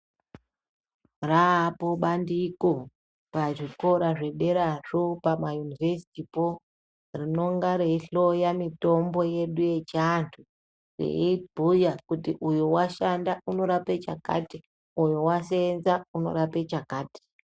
Raapo bandiko pazvikora zvederazvo pamayunivhesitipo rinonga reihloya mitombo yedu yechiantu veibhuya kuti uyo washanda unorape chakati uyo waseenza unorape chakati